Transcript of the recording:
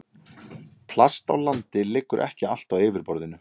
Plast á landi liggur ekki allt á yfirborðinu.